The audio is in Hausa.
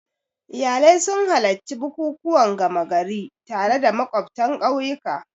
Iyalai sun halarci bukukuwan gama gari tare da makwabtan ƙauyuka.